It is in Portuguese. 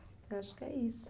Eu acho que é isso.